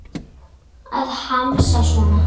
Að hamast svona.